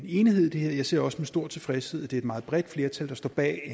enighed i det her og jeg ser også med stor tilfredshed at det er et meget bredt flertal der står bag